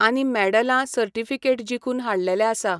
आनी मॅडलां, सर्टीफिकेट जिखून हाडलेले आसा.